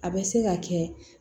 A bɛ se ka kɛ